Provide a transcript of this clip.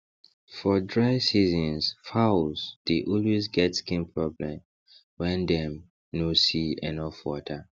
for dry season fowls dey always get skin problem wen dem no see enough water